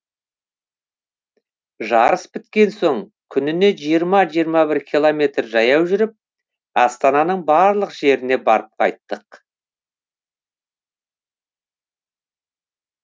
жарыс біткен соң күніне жиырма жиырма бір километр жаяу жүріп астананың барлық жеріне барып қайттық